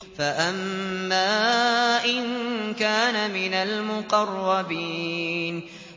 فَأَمَّا إِن كَانَ مِنَ الْمُقَرَّبِينَ